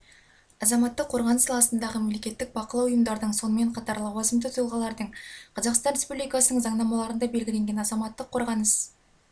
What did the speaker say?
азаматтық қорғаныс саласындағы мемлекеттік бақылау ұйымдардың сонымен қатар лауазымды тұлғалардың қазақстан республикасының заңнамаларында белгіленген азаматтық қорғаныс